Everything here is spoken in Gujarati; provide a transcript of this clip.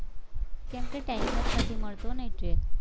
કેમકે time જ નથી મળતો ને એટલે